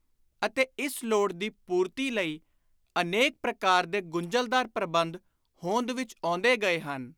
ਅਤੇ ਇਸ ਲੋੜ ਦੀ ਪੁਰਤੀ ਲਈ ਅਨੇਕ ਪ੍ਰਕਾਰ ਦੇ ਗੁੰਝਲਦਾਰ ਪ੍ਰਬੰਧ ਹੋਂਦ ਵਿਚ ਆਉਂਦੇ ਗਏ ਹਨ।